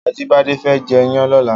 Ajibade fè jè iyàn lòlá